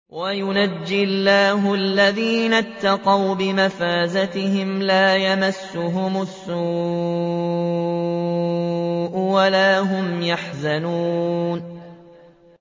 وَيُنَجِّي اللَّهُ الَّذِينَ اتَّقَوْا بِمَفَازَتِهِمْ لَا يَمَسُّهُمُ السُّوءُ وَلَا هُمْ يَحْزَنُونَ